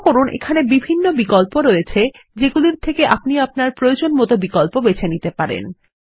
লক্ষ্য করুন এখানে বিভিন্ন বিকল্প রয়েছে যেগুলির থেকে আপনি প্রয়োজনমত বেছে নিতে পারেন